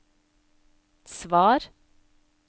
svar